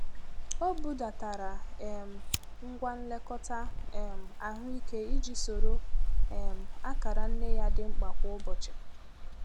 Ọ budatara um ngwa nlekọta um ahụike iji soro um akara nne ya dị mkpa kwa ụbọchị.